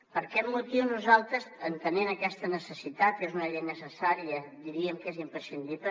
per aquest motiu nosaltres entenent aquesta necessitat que és una llei necessària diríem que és imprescindible